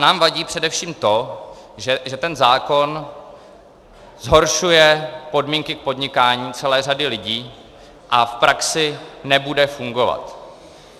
Nám vadí především to, že ten zákon zhoršuje podmínky k podnikání celé řady lidí a v praxi nebude fungovat.